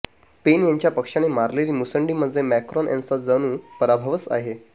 pen यांच्या पक्षाने मारलेली मुसंडी म्हणजे मॅक्रॉन यांचा जणू पराभवच आहे